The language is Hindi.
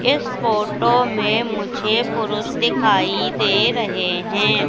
इस फोटो में मुझे पुरुष दिखाई दे रहे है।